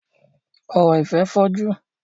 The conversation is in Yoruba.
Ọ̀rọ̀ ìfẹ́ fọ́jú.